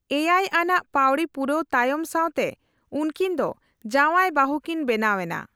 ᱮᱭᱟᱭ ᱟᱱᱟᱜ ᱯᱟᱹᱣᱲᱤ ᱯᱩᱨᱟᱹᱣ ᱛᱟᱭᱚᱢ ᱥᱟᱣᱛᱮ ᱩᱱᱠᱤᱱ ᱫᱚ ᱡᱟᱣᱟᱭᱼᱵᱟᱹᱦᱩ ᱠᱤᱱ ᱵᱮᱱᱟᱣ ᱮᱱᱟ ᱾